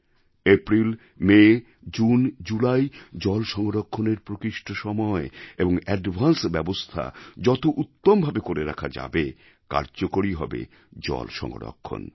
April May June July জল সংরক্ষণের প্রকৃষ্ট সময় এবং আগাম ব্যবস্থা যত উত্তমভাবে করে রাখা যাবে ততই কার্যকরী হবে জল সংরক্ষণের কাজ